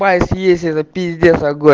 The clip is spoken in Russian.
спайс есть это пиздец огонь